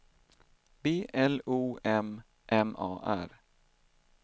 B L O M M A R